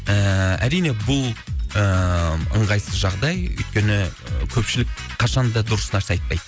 ііі әрине бұл ыыы ыңғайсыз жағдай өйткені көпшілік қашанда дұрыс нәрсе айтпайды